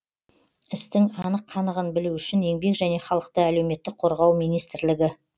істің анық қанығын білу үшін еңбек және халықты әлеуметтік қорғау министрлігі